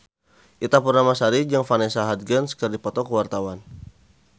Ita Purnamasari jeung Vanessa Hudgens keur dipoto ku wartawan